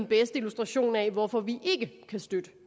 bedste illustration af hvorfor vi ikke kan støtte